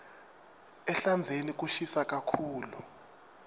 ehlandzeni kushisa kakhulu